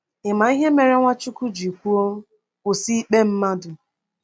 Ị ma ihe mere Nwachukwu ji kwuo: “Kwụsị ikpe mmadụ”?